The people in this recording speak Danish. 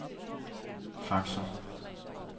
faxer